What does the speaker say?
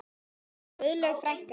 Guðlaug frænka.